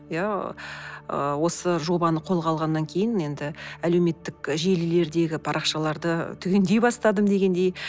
иә ыыы осы жобаны қолға алғаннан кейін енді әлеуметтік желілердегі парақшаларды түгендей бастадым дегендей